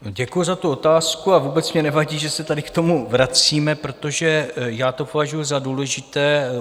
Děkuji za tu otázku a vůbec mně nevadí, že se tady k tomu vracíme, protože já to považuji za důležité.